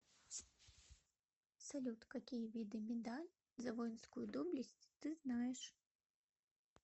салют какие виды медаль за воинскую доблесть ты знаешь